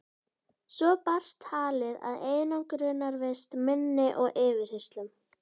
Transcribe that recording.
Svo barst talið að einangrunarvist minni og yfirheyrslum.